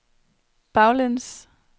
baglæns